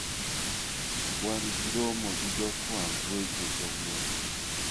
Wan gi romo gi jofwamb weche kawuono.